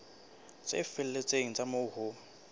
tse felletseng tsa moo ho